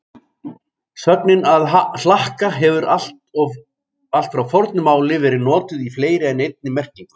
Sögnin að hlakka hefur allt frá fornu máli verið notuð í fleiri en einni merkingu.